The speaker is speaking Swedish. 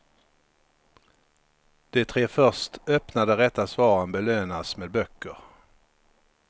De tre först öppnade rätta svaren belönas med böcker.